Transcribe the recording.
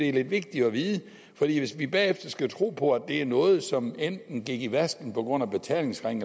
er lidt vigtigt at vide for hvis vi bagefter skal tro på at det er noget som gik i vasken på grund af betalingsring